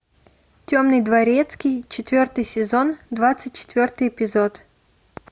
темный дворецкий четвертый сезон двадцать четвертый эпизод